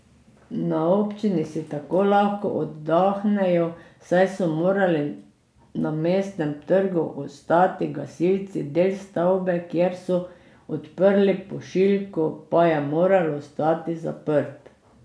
Na občini si tako lahko oddahnejo, saj so morali na Mestnem trgu ostati gasilci, del stavbe, kjer so odprli pošiljko, pa je moral ostati zaprt.